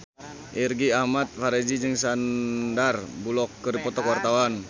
Irgi Ahmad Fahrezi jeung Sandar Bullock keur dipoto ku wartawan